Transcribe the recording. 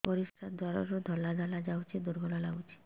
ପରିଶ୍ରା ଦ୍ୱାର ରୁ ଧଳା ଧଳା ଯାଉଚି ଦୁର୍ବଳ ଲାଗୁଚି